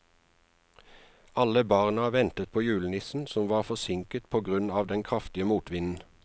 Alle barna ventet på julenissen, som var forsinket på grunn av den kraftige motvinden.